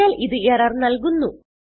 അതിനാൽ ഇത് എറർ നല്കുന്നു